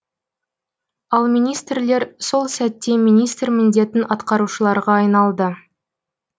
ал министрлер сол сәтте министр міндетін атқарушыларға айналды